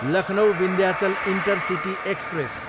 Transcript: Lucknow, Vindhyachal intercity express